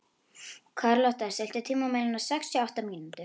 Karlotta, stilltu tímamælinn á sextíu og átta mínútur.